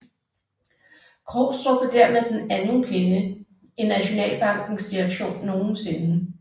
Krogstrup blev dermed den anden kvinde i Nationalbankens direktion nogensinde